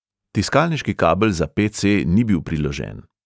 Tiskalniški kabel za pe|ce ni bil priložen.